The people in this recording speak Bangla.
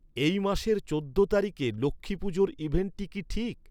এই মাসের চৌদ্দ তারিখে লক্ষ্মী পুজোর ইভেন্টটি কি ঠিক?